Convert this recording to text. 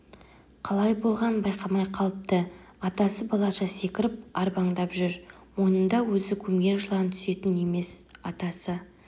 қалай болғанын байқамай қалыпты атасы балаша секіріп арбаңдап жүр мойнында өзі көмген жылан түсетін емес атасы